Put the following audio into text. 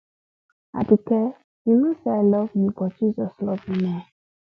aduke you know say i love you but jesus love you more